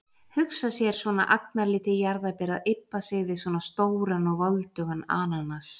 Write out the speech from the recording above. Hugsa sér, svona agnarlítið jarðarber að ybba sig við svona stóran og voldugan ananas.